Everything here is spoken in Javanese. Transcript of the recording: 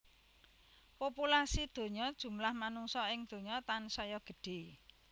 Populasi donya jumlah manungsa ing donya tansaya gedhe